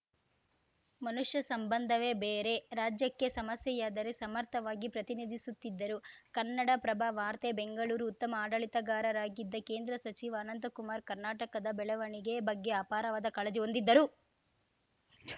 ಮನುಷ್ಯ ಸಂಬಂಧವೇ ಬೇರೆ ರಾಜ್ಯಕ್ಕೆ ಸಮಸ್ಯೆಯಾದರೆ ಸಮರ್ಥವಾಗಿ ಪ್ರತಿನಿಧಿಸುತ್ತಿದ್ದರು ಕನ್ನಡಪ್ರಭ ವಾರ್ತೆ ಬೆಂಗಳೂರು ಉತ್ತಮ ಆಡಳಿತಗಾರರಾಗಿದ್ದ ಕೇಂದ್ರ ಸಚಿವ ಅನಂತಕುಮಾರ್‌ ಕರ್ನಾಟಕದ ಬೆಳವಣಿಗೆ ಬಗ್ಗೆ ಅಪಾರವಾದ ಕಾಳಜಿ ಹೊಂದಿದ್ದರು